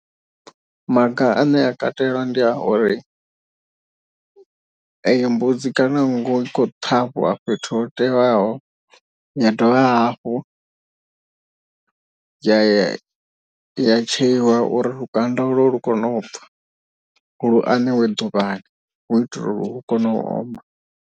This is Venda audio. Maga ane a katela ndi a uri eyo mbudzi kana nngu i khou ṱhavhiwa fhethu ho teaho. Ya dovha hafhu ya ya ya tsheiwa uri lukanda ulo lu kone u bva lu aneiwe ḓuvhani hu itela uri lu kone u oma.